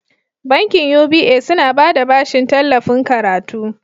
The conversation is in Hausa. Bankin UBA suna bada bashin tallafin karatu.